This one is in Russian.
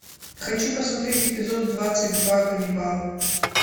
хочу посмотреть эпизод двадцать два ганнибал